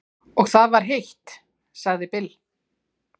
Og það var heitt, sagði Bill.